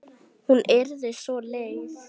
Hún yrði svo leið.